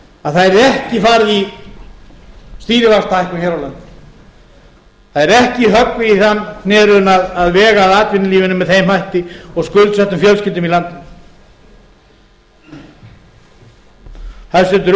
að það yrði ekki farið í stýrivaxtahækkun hér á landi það yrði ekki höggvið í þann knérunn að vega að atvinnulífinu með þeim hætti og skuldsettum fjölskyldum í landinu hæstvirtur utanríkisráðherra talaði um